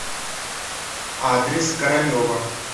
адрес королева